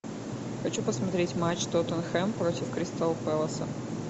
хочу посмотреть матч тоттенхэм против кристал пэласа